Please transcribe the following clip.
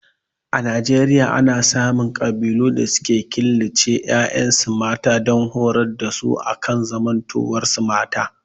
A Nijeriaya ana samun ƙabilun da suke killace ƴaƴa mata dan horar da su akan zamantowar su mata